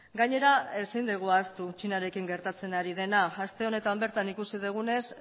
gainera ezin dugu ahaztu txinarekin gertatzen ari dena aste honetan bertan ikusi dugunez